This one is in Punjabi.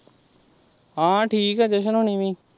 ਹਾਂ ਠੀਕ ਆ ਜਸ਼ਨ ਹੁਣੀ ਵੀ।